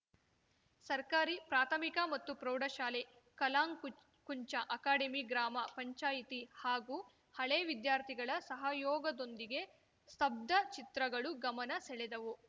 ಸರ್ಕಾರಿ ಪ್ರಾಥಮಿಕ ಮತ್ತು ಪ್ರೌಢಶಾಲೆ ಕಲಾಂ ಕುಂಚ ಅಕಾಡೆಮಿ ಗ್ರಾಮ ಪಂಚಾಯಿತಿ ಹಾಗೂ ಹಳೇ ವಿದ್ಯಾರ್ಥಿಗಳ ಸಹಯೋಗದೊಂದಿಗೆ ಸ್ತಬ್ಧ ಚಿತ್ರಗಳು ಗಮನ ಸೆಳೆದವು